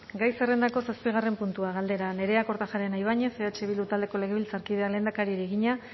gai zerrendako zazpigarren puntua galdera nerea kortajarena ibañez eh bildu taldeko legebiltzarkideak lehendakariari egina